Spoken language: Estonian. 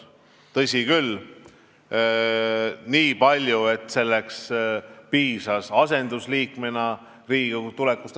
Tõsi küll, vaid nii palju, et sellest piisas asendusliikmena Riigikokku tulekuks.